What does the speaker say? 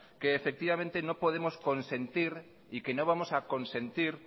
que efectivamente no podemos consentir y que no vamos a consentir